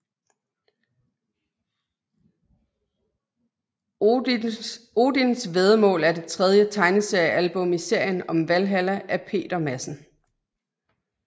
Odisn væddemål er det tredje tegneseriealbum i serien om Valhalla af Peter Madsen